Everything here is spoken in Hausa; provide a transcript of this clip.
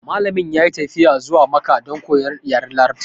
Malamin ya yi tafiya zuwa makka don koyan yaren larabci